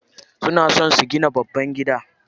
Suna so su gina babban gida.